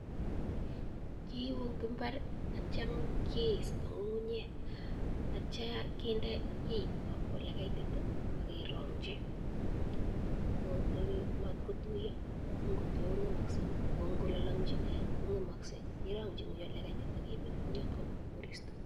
Kiibuu ing imbar atya kee ista ngungunyek atya kindee olekaitit akererangchii matkotuiaa amuu ngutuiya kongemakseii akoo ngolalangchii kongemakseii kerangchii ingony oleekaitit akemeta ingyotok kokut korista